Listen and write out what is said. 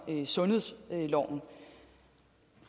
sundhedsloven